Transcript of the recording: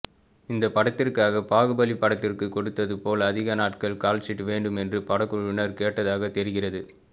இந்த படத்திற்காக பாகுபலி படத்திற்கு கொடுத்தது போல் அதிக நாட்கள் கால்ஷீட் வேண்டும் என்று படக்குழுவினர் கேட்டதாக தெரிகிறது